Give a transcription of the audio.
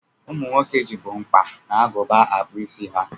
Ụmụ nwoke jibu mkpa na agụba akpụ isi ha.